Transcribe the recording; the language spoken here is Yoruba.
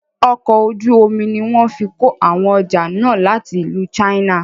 Ọkọ̀ ojú omi ní wọ́n fí kó àwọn ọjà náà láti ìlú china.